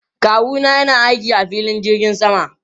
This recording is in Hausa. Kawu na yana aiki a filin jirgin sama.